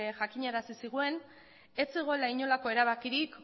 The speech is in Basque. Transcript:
jakinarazi zigun ez zegoela inolako erabakirik